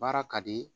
Baara ka di